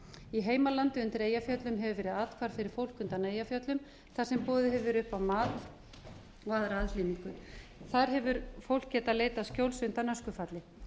í heimalandi undir eyjafjöllum hefur verið athvarf fyrir fólk undan eyjafjöllum þar sem boðið hefur verið upp á mat og aðra aðhlynningu þar hefur fólk getað leitað skjóls undan öskufalli